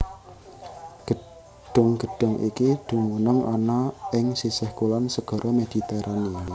Gedhung gedhung iki dumunung ana ing sisih kulon Segara Mediterania